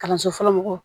Kalanso fɔlɔ mɔgɔw